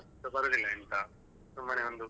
ಅಷ್ಟು ಬರುದಿಲ್ಲ ಎಂತ ಸುಮ್ಮನೆ ಒಂದು.